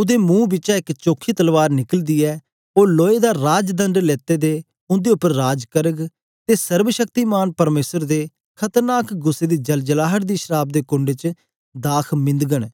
ओदे मुंह बिचा एक चोखी तलवार निकलदी ऐ ओ लोए दा राजदंड लेते दे उंदे उपर राज करग ते सर्वशक्तिमान परमेसर दे खतरनाक गुस्सै दी जलजलाहट दी शराव दे कुंड च दाख मिन्दगन